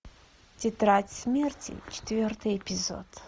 тетрадь смерти четвертый эпизод